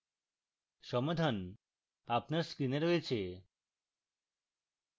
সমাধান আপনার screen রয়েছে